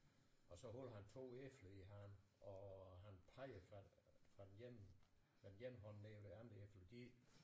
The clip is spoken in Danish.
Og så holder han 2 æbler i hånden og han peger fra fra den ene den ene hånd ned hvor de andre æbler de